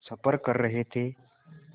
सफ़र कर रहे थे